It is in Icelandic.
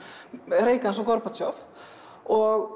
Reagans og og